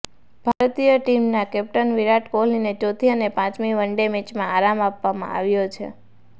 ભારતીય ટીમના કેપ્ટન વિરાટ કોહલીને ચોથી અને પાંચમી વનડે મેચમાં આરામ આપવામાં આવ્યો છે